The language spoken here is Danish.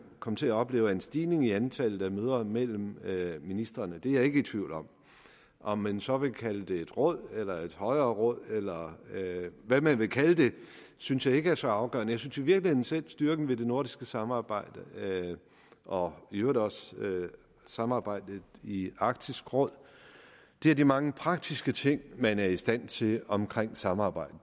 komme til at opleve en stigning i antallet af møder mellem ministrene det er jeg ikke i tvivl om om man så vil kalde det et råd eller et højere råd eller hvad man vil kalde det synes jeg ikke er så afgørende jeg synes i virkeligheden selv at styrken ved det nordiske samarbejde og i øvrigt også samarbejdet i i arktisk råd er de mange praktiske ting man er i stand til at omkring samarbejdet